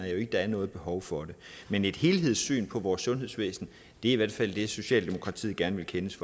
jo ikke der er noget behov for det men et helhedssyn på vores sundhedsvæsen er i hvert fald det som socialdemokratiet gerne vil kendes